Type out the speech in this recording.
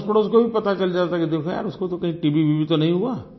तो अड़ोसपड़ोस को भी पता चल जाता है कि देखो यार कहीं उसको टीबीवीबी तो नहीं हुआ